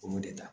Olu de ta